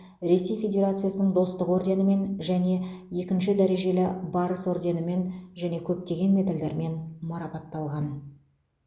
ресей федерациясының достық орденімен және екінші дәрежелі барыс орденімен және көптеген медальдармен марапатталған